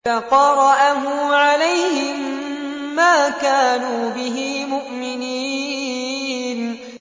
فَقَرَأَهُ عَلَيْهِم مَّا كَانُوا بِهِ مُؤْمِنِينَ